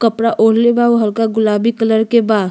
कपड़ा ओढले बा उ हलका गुलाबी कलर के बा।